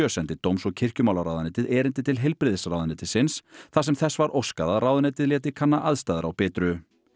sendi dóms og kirkjumálaráðuneytið erindi til heilbrigðisráðuneytisins þar sem þess var óskað að ráðuneytið léti kanna aðstæður á Bitru